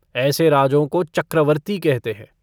ऐसे राजों को चक्रवर्ती कहते हैं।